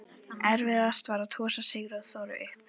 Erfiðast var að tosa Sigþóru upp.